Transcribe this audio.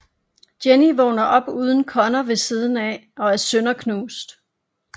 Jenny vågner op uden Connor ved siden af og er sønderknust